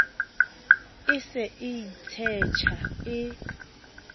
e se e itshetjha e